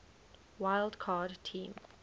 wild card team